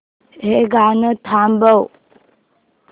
हे गाणं थांबव